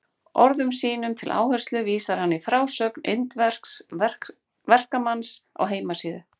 Orðum sínum til áherslu vísar hann í frásögn indversks verkamanns á heimasíðu